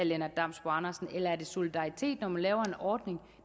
lennart damsbo andersen eller er det solidaritet når man laver en ordning